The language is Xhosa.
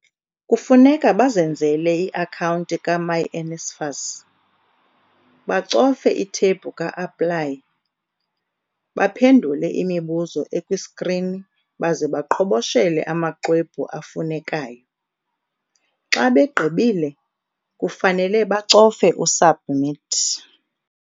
Kufuneka bazenzele i-akhawunti ka-myNSFAS, bacofe ithebhu ka-APPLY, baphendula imibuzo ekwiskrini baze baqhoboshele amaxwebhu afunekayo. Xa begqibile, kufanele bacofe u-SUBMIT .